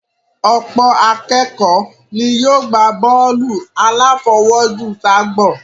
Ọ̀pọ̀ akékọ̀ọ́ ni yóò gbá bọ́ọ̀lù aláfọwọ́jù ságbọ̀n